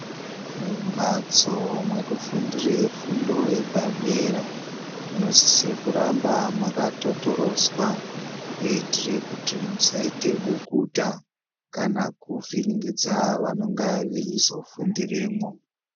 Mumbatso mwekufundire fundo yepadera munosisire kuramba mwakatotoroswa kuitire kuti musaita bukuta kana kuvhiringidza vanenge veizofundiremwo.